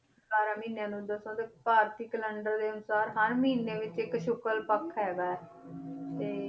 ਬਾਰਾਂ ਮਹੀਨਿਆਂ ਨੂੰ ਦਰਸਾਉਂਦੇ ਭਾਰਤੀ calendar ਦੇ ਅਨੁਸਾਰ ਹਰ ਮਹੀਨੇ ਵਿੱਚ ਇੱਕ ਸ਼ੁਕਰ ਪੱਖ ਹੈਗਾ ਹੈ ਤੇ